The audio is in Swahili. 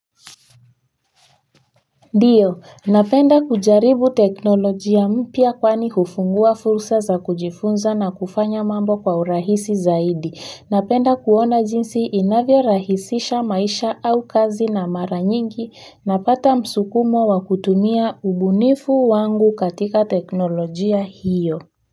Ndiyo, napenda kujaribu teknolojia mpya kwani hufungua fursa za kujifunza na kufanya mambo kwa urahisi zaidi. Napenda kuona jinsi inavyorahisisha maisha au kazi na mara nyingi napata msukumo wa kutumia ubunifu wangu katika teknolojia hiyo.